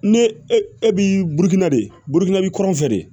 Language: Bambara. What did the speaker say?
Ne e e b'i burukina de burukina bi kɔrɔn fɛ de